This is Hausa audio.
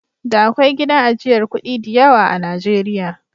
Da akwai gidan ajiyar kuɗi diyawa a Najeriya.